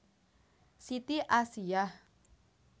Siti Asiyah